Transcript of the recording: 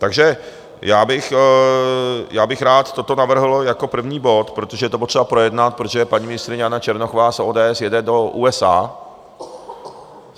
Takže já bych rád toto navrhl jako první bod, protože je to potřeba projednat, protože paní ministryně Jana Černochová z ODS jede do USA.